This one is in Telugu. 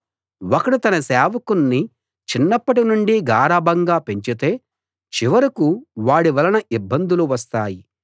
ఒకడు తన సేవకుణ్ణి చిన్నప్పటి నుండి గారాబంగా పెంచితే చివరకూ వాడి వలన ఇబ్బందులు వస్తాయి